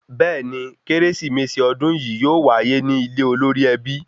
Bẹẹni, Kérésìmesì odun yìí yóò waye ni ile olórí ẹbí